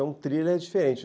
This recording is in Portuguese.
É um thriller diferente.